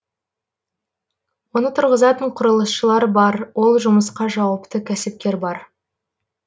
оны тұрғызатын құрылысшылар бар ол жұмысқа жауапты кәсіпкер бар